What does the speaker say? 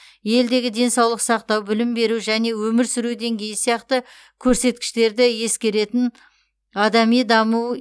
елдегі денсаулық сақтау білім беру және өмір сүру деңгейі сияқты көрсеткіштерді ескеретін адами даму